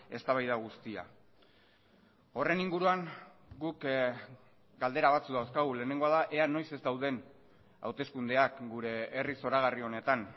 eztabaida guztia horren inguruan guk galdera batzuk dauzkagu lehenengoa da ea noiz ez dauden hauteskundeak gure herri zoragarri honetan